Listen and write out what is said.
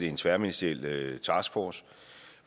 en tværministeriel taskforce